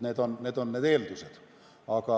Need on need eeldused.